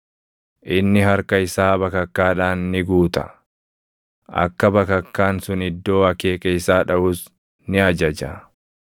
Inni harka isaa bakakkaadhaan ni guuta; akka bakakkaan sun iddoo akeeka isaa dhaʼus ni ajaja.